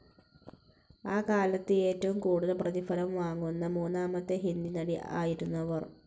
ആ കാലത്ത് ഏറ്റവും കൂടുതൽ പ്രതിഫലം വാങ്ങുന്ന മൂന്നാമത്തെ ഹിന്ദി നടി ആയിരുന്നു അവർ.